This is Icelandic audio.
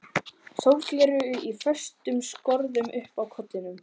Sólgleraugu í föstum skorðum uppi á kollinum.